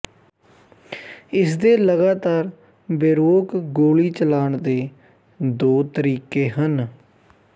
ਇਸਦੇ ਲਗਾਤਾਰ ਬੇਰੋਕ ਗੋਲੀ ਚਲਾਣ ਦੇ ਦੋ ਤਰੀਕੇ ਹਨ